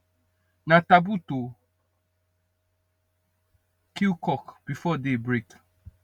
na taboo to kill cock before day break